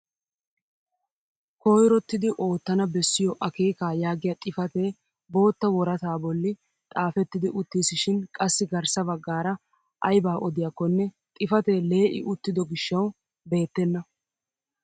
Koyrottidi oottana bessiyoo akeekaa yaagiyaa xifatee bootta worataa bolli xaafettidi uttisishin qassi garssa baggaara aybaa odiyaakonne xifatee lee'i uttido gishshawu beettena!